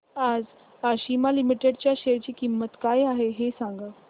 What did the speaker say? आज आशिमा लिमिटेड च्या शेअर ची किंमत काय आहे हे सांगा